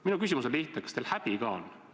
Minu küsimus on lihtne: kas teil häbi ka on?